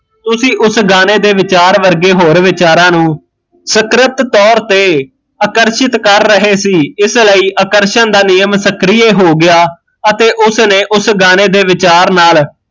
ਤੁਸੀਂ ਉਸ ਗਾਣੇ ਦੇ ਵਿਚਾਰ ਵਰਗੇ ਹੋਰ ਵਿਚਾਰਾ ਨੂੰ ਸੁਕ੍ਰਿਤ ਤੋਰ ਤੇ ਆਕਰਸ਼ਿਤ ਕਰ ਰਹੇ ਸੀ ਇਸ ਲਈ ਆਕਰਸ਼ਣ ਦਾ ਨਿਯਮ ਸੁਕ੍ਰਿਏ ਹੋ ਗਿਆ ਅਤੇ ਉਸਨੇ ਓਸ ਗਾਣੇ ਦੇ ਵਿਚਾਰ ਨਾਲ਼